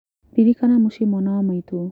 Ririkana mũcĩĩ mwana wa maitũ.